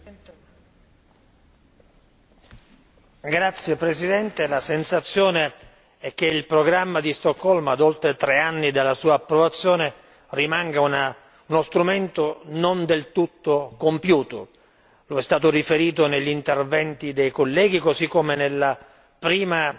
Signor Presidente, onorevoli colleghi, la sensazione è che il programma di Stoccolma dopo oltre tre anni dalla sua approvazione rimanga uno strumento non del tutto compiuto. Ciò è stato riferito negli interventi dei colleghi, così come nella prima